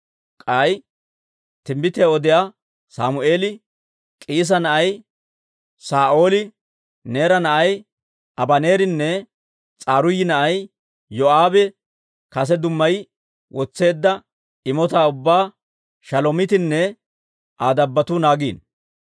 K'ay timbbitiyaa odiyaa Sammeeli, K'iisa na'ay Saa'ooli, Neera na'ay Abaneerinne S'aruuyi na'ay Yoo'aabe kase dummayi wotseedda imotaa ubbaa Shalomiitinne Aa dabbotuu naagiino.